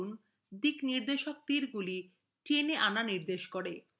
লক্ষ্য করুন direction তীরগুলি টেনে আনা নির্দেশ করে